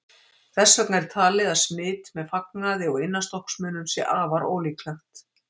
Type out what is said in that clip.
Þess vegna er talið að smit með fatnaði og innanstokksmunum sé afar ólíklegt.